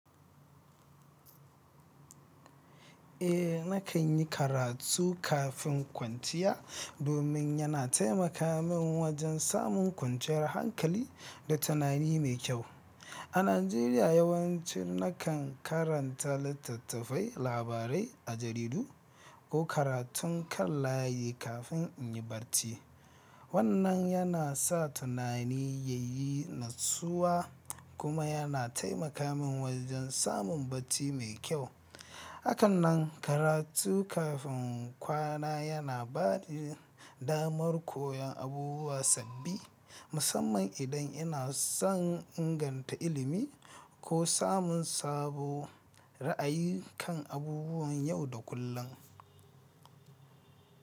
Eh, na kan yi karatu kafin kwanciya domin yana taimaka min wajen samun kwanciyar hankali da tunani mai kyau. A Najeriya, yawanci na kan karanta littattafai, labarai a jaridu ko karatun kan layi kafin in yi barci. Wannan yana sa tunani ya yi natsuwa kuma yana taimaka min wajen samun barci mai kyau. Akan nan, karatu kafin kwana yana ba da damar koyon abubuwa sabbi, musamman idan ina son inganta ilimi ko samun sabo ra'ayi kan abubuwan yau da kullum.